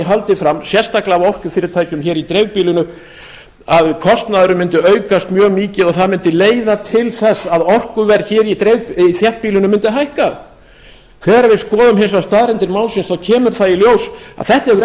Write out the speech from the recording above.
haldið fram sérstaklega af orkufyrirtækjum hér í dreifbýlinu að kostnaðurinn mundi aukast mjög mikið og það mundi leiða til þess að orkuverð hér í þéttbýlinu mundi hækka þegar við skoðum hins vegar staðreyndir málsins kemur það í ljós að þetta hefur